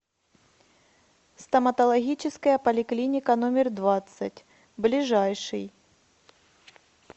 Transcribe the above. стоматологическая поликлиника номер двадцать ближайший